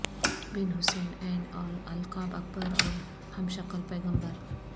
بن حسین ع اور القاب اکبر اور ہمشکل پیغمبر